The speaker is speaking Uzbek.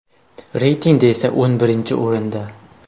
Reytingda esa o‘n birinchi o‘rinda.